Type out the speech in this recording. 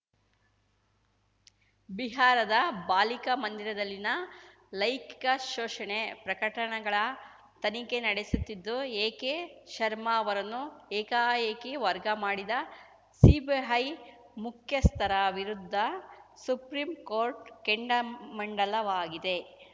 ಬಿಹಾರದ ಬಾಲಿಕಾ ಮಂದಿರದಲ್ಲಿನ ಲೈಂಗಿಕ ಶೋಷಣೆ ಪ್ರಕಟಣಗಳ ತನಿಖೆ ನಡೆಸುತ್ತಿದ್ದ ಎಕೆಶರ್ಮಾ ಅವರನ್ನು ಏಕಾಏಕಿ ವರ್ಗ ಮಾಡಿದ ಸಿಬಿಐ ಮುಖ್ಯಸ್ಥರ ವಿರುದ್ಧ ಸುಪ್ರೀಂಕೋರ್ಟ್‌ ಕೆಂಡಾಮಂಡಲವಾಗಿದೆ